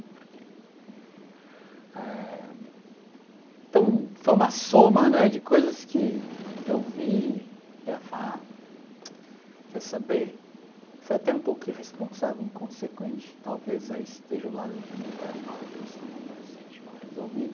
Porque eh então, foi uma soma né de coisas que eu vi e ia falar, quer saber, foi até um pouco irresponsável e inconsequente, talvez aí esteja o lado que meu pai fala que eu sou um adolescente mal resolvido.